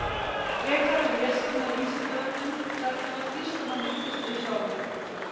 Frekara lesefni á Vísindavefnum: Hvernig var tískan á millistríðsárunum?